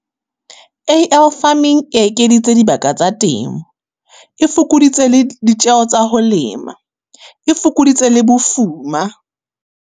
A_L farming e ekeditse dibaka tsa temo. E fokoditse le, ditjeho tsa ho lema, e fokoditse le bofuma.